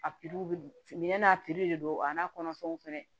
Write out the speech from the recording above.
A bɛ n'a de don a n'a kɔnɔfɛnw fɛnɛ